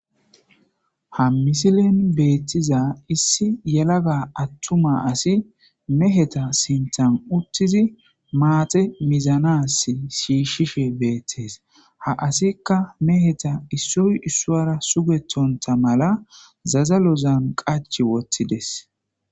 ha misilen beettiza issi yelaga attuma asi meheta sinthan uttizi maate mizanas shiishi beettees ha asikka meheta issoy issoara sugetonta mala zazalozan qachi wottides